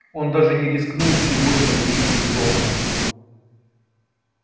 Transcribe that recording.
он даже не рискнул сегодня выйти из дома